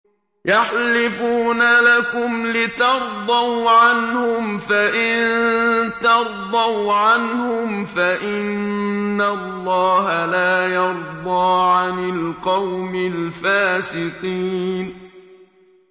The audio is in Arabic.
يَحْلِفُونَ لَكُمْ لِتَرْضَوْا عَنْهُمْ ۖ فَإِن تَرْضَوْا عَنْهُمْ فَإِنَّ اللَّهَ لَا يَرْضَىٰ عَنِ الْقَوْمِ الْفَاسِقِينَ